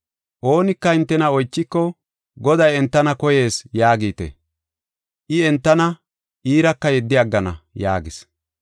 Oonika hintena oychiko, ‘Goday entana koyees’ yaagite. I entana iiraka yeddi aggana” yaagis.